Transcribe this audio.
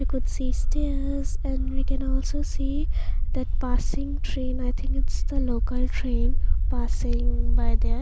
we could see stairs and we can also see that passing train i think it's the local train passing by there.